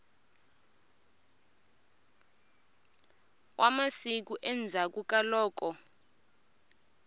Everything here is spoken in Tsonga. wa masiku endzhaklu ka loko